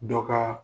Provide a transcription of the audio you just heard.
Dɔ ka